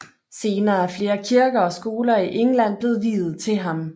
Senere er flere kirker og skoler i England blevet viet til ham